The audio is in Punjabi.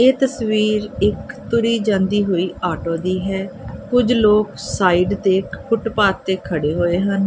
ਇਹ ਤਸਵੀਰ ਇੱਕ ਤੁਰੀ ਜਾਂਦੀ ਹੋਈ ਆਟੋ ਦੀ ਹੈ ਕੁਝ ਲੋਕ ਸਾਈਡ ਤੇ ਫੁੱਟਪਾਤ ਤੇ ਖੜੇ ਹੋਏ ਹਨ।